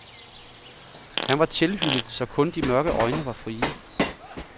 Han var tilhyllet, så kun de mørke øjne var frie.